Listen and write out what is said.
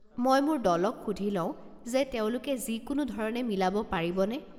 মই মোৰ দলক সুধি লওঁ যে তেওঁলোকে যিকোনো ধৰণে মিলাব পাৰিবনে।